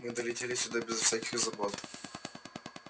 мы долетели сюда без всяких забот